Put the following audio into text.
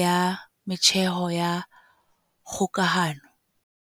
ya metjheng ya kgokahano.